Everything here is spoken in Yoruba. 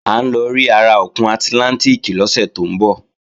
À ń lọ rí ara òkun àtlántìkì lọ́sẹ̀ tó ń bọ̀